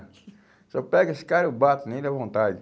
Se eu pego esse cara, eu bato, nem dá vontade.